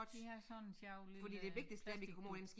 De har sådan en sjov lille plasticting